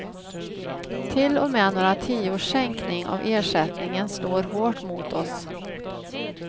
Till och med några tiors sänkning av ersättningen slår hårt mot oss.